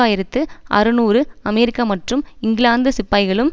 ஆயிரத்து அறுநூறு அமெரிக்க மற்றும் இங்கிலாந்து சிப்பாய்களும்